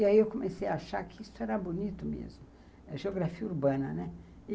E aí eu comecei a achar que isso era bonito mesmo, a geografia urbana, né?